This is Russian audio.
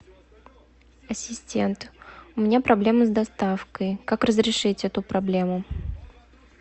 ассистент у меня проблема с доставкой как разрешить эту проблему